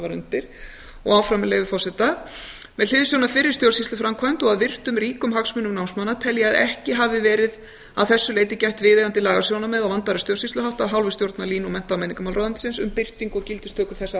var undir og áfram með leyfi forseta með hliðsjón af fyrri stjórnsýsluframkvæmd og að virtum ríkum hagsmunum námsmanna tel ég að ekki hafi verið að þessu leyti gætt viðeigandi lagasjónarmiða og vandaðra stjórnsýsluhátta af hálfu stjórnar lín og mennta og menningarmálaráðuneytisins um birtingu og gildistöku þessa